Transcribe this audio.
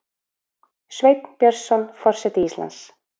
Sveinn Björnsson forseti Íslands